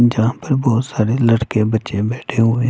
जहाँ पे बहुत सारे लड़के-बच्चे बैठे हुए--